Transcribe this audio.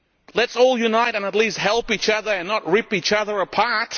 Let us all unite and at least help each other and not rip each other apart.